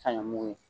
Sanɲɔ mugu ye